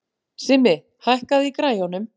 Simmi, hækkaðu í græjunum.